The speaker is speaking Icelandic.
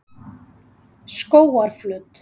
Skógarflöt